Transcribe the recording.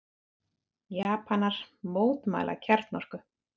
Japanar mótmæla kjarnorku